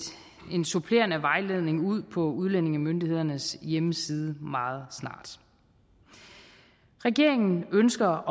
en supplerende vejledning ud på udlændingemyndighedernes hjemmeside meget snart regeringen ønsker